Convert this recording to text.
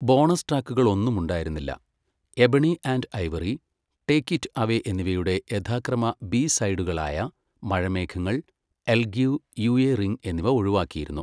Bonus ട്രാക്കുകൾ ഒന്നുമുണ്ടായിരുന്നില്ല, ebony and ivory, take it away എന്നിവയുടെ യഥാക്രമ ബി സൈഡുകളായ മഴമേഘങ്ങൾ, I'll give you a ring എന്നിവ ഒഴിവാക്കിയിരുന്നു.